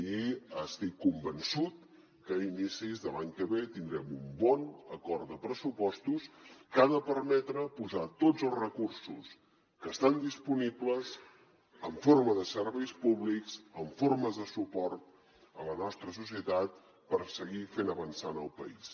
i estic convençut que a inicis de l’any que ve tindrem un bon acord de pressupostos que ha de permetre posar tots els recursos que estan disponibles en forma de serveis públics en forma de suport a la nostra societat per seguir fent avançar el país